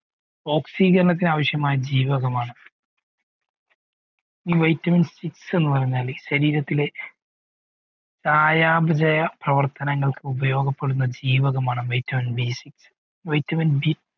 oxygen ആവിശ്യമായ ജീവകമാണ് ഈ vitamin six എന്ന് പറയുഞ്ഞാൽ ശരീരത്തിലെ സായംജയ പ്രവർത്തങ്ങൾക്ക് ഉപയോഗപ്പെടുന്ന ജീവകമാണ് vitamin B sixvitaminB